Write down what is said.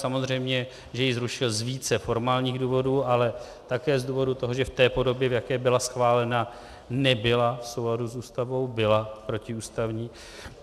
Samozřejmě že ji zrušil z více formálních důvodů, ale také z důvodu toho, že v té podobě, v jaké byla schválena, nebyla v souladu s Ústavou, byla protiústavní.